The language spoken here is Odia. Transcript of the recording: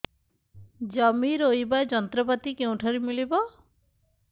ଜମି ରୋଇବା ଯନ୍ତ୍ରପାତି କେଉଁଠାରୁ ମିଳିବ